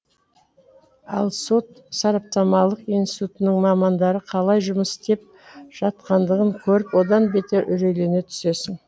ал сот сараптамалық институтының мамандары қалай жұмыс істеп жатқандығын көріп одан бетер үрейлене түсесің